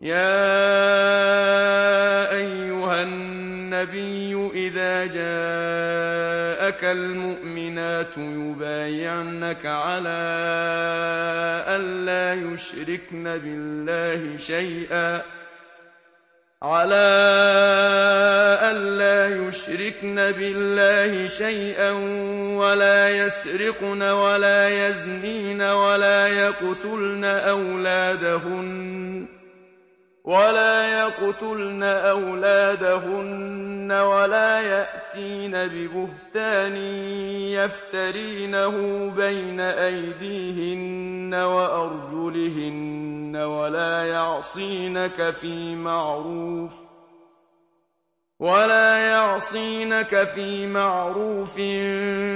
يَا أَيُّهَا النَّبِيُّ إِذَا جَاءَكَ الْمُؤْمِنَاتُ يُبَايِعْنَكَ عَلَىٰ أَن لَّا يُشْرِكْنَ بِاللَّهِ شَيْئًا وَلَا يَسْرِقْنَ وَلَا يَزْنِينَ وَلَا يَقْتُلْنَ أَوْلَادَهُنَّ وَلَا يَأْتِينَ بِبُهْتَانٍ يَفْتَرِينَهُ بَيْنَ أَيْدِيهِنَّ وَأَرْجُلِهِنَّ وَلَا يَعْصِينَكَ فِي مَعْرُوفٍ ۙ